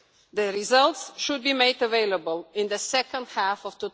The results should be made available in the second half of